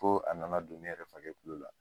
Fo a nana don ne yɛrɛ fakɛ kulo la.